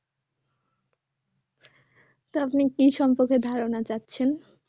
তো আপনি কি সম্পর্কে ধারণা চাচ্ছেন